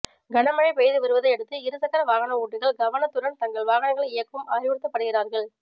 கனமழை பெய்து வருவதையடுத்து இருசக்கர வாகன ஓட்டிகள் கவனத்துடன் தங்கள் வாகனங்களை இயக்கும் அறிவுறுத்தப்படுகிறார்கள்